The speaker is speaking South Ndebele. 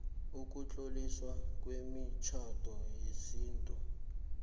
ukutloliswa kwemitjhado yesintu